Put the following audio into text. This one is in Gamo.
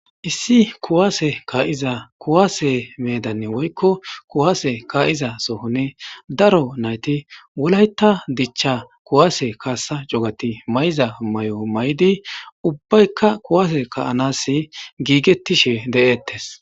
Issi ku'ase ka'iza ku'ase medan woyiko ku'ase ka'iza sohon daronayiti wolaita dicha ku'ase kasanichti ma'iza mayo mayidi ubayika ku'ase ka'anasi gigetishe de'etes